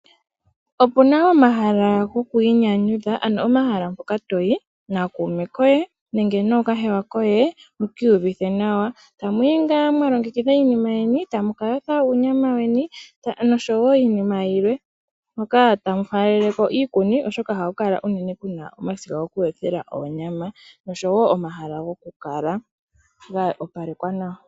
Opuna omahala goku inyanyudha ano omahala mpoka toyi nakuume koye nenge nookahewa koye mokiiyuvithe nawa tamuyi ngaa mwalongekitha iinima yeni